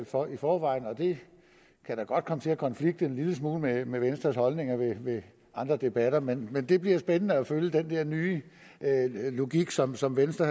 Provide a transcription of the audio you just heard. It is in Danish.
for i forvejen det kan da godt komme til at konflikte en lille smule med venstres holdninger i andre debatter men det bliver spændende at følge den der nye logik som som venstre